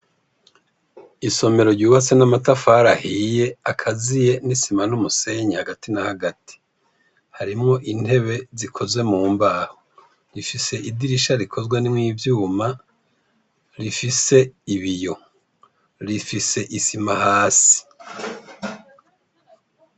Imbere y'ishuri ryubatswe n'amatafari akaziye n'isima n'umusenyi rifise ubwugamo bushigikiwe n'ivyuma bisize irangi ry'ubururu busakaje n'amabati afise irangi ryirabura hari vyo buma bakenerako umupira w'amaboko bisizairango i hejuru ryera hasi iry'ubururu.